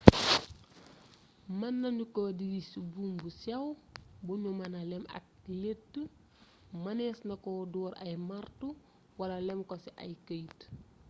mën nanu ko diri ci buum bu sew bu nu mëna lem ak lettë mënees na ko door ay marto wala lem ko ci ay këyit